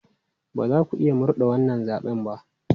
Ba za ku iya murde wannan zaɓen ba!